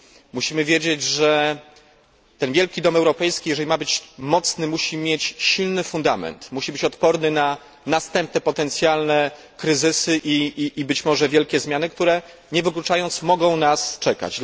Musimy wiedzieć, że ten wielki dom europejski, jeśli ma być mocny musi mieć silny fundament, musi być odporny na następne potencjalne kryzysy i być może wielkie zmiany, które nie wykluczając, mogą nas czekać.